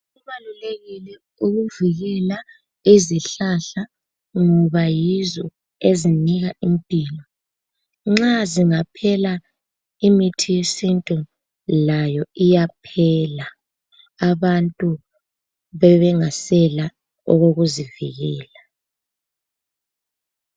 Kubalulekile ukuvikela izihlahla ngoba yizo ezinika impilo nxa zingaphela imithi yesintu layo iyaphela, abantu bebengasela okokuzivikela.